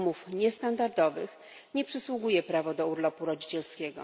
umów niestandardowych nie przysługuje prawo do urlopu rodzicielskiego.